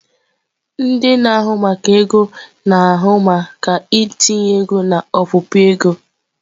Ndị na-ahụ maka ego na-ahụ maka ntinye ego na ọpụpụ ego.